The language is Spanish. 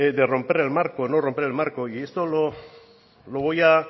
de romper el marco o no romper el marco y esto lo voy a